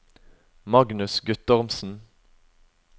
Magnus Guttormsen